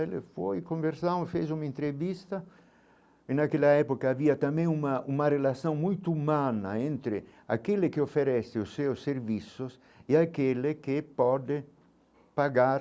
Eu fui conversar, eu fiz uma entrevista e naquela época havia também uma uma relação muito humana entre aquele que oferece os seus serviços e aquele que pode pagar